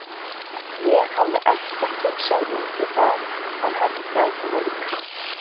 Ég hafði ekkert hugsað út í það að henni gæti verið kalt.